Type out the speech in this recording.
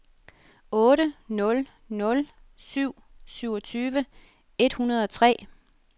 otte nul nul syv syvogtyve et hundrede og tre